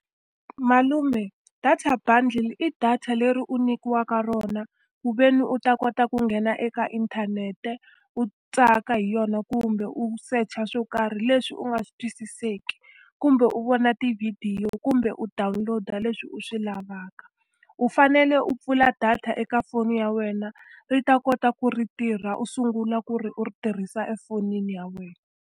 Malume data bundle i data leri u nyikiwaka rona kuveni u ta kota ku nghena eka inthanete, u tsaka hi yona, kumbe u search-a swo karhi leswi u nga swi twisiseki. Kumbe u vona tivhidiyo, kumbe u download-a leswi u swi lavaka. U fanele u pfula data eka foni ya wena ri ta kota ku ri tirha, u sungula ku ri u ri tirhisa efonini ya wena.